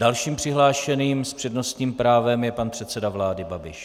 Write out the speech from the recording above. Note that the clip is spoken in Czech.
Dalším přihlášeným s přednostním právem je pan předseda vlády Babiš.